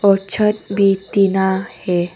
और छत भी तीना है।